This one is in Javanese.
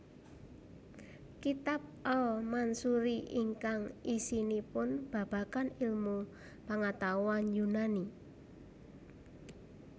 Kitab al Mansuri ingkang isinipun babagan ilmu pangatahuan Yunani